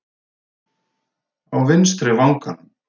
Á vinstri vanganum!